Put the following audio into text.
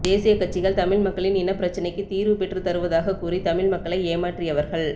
தேசிய கட்சிகள் தமிழ் மக்களின் இனப்பிரச்சினைக்கு தீர்வு பெற்றத்தருவதாக கூறி தமிழ் மக்களை ஏமாற்றியவர்கள்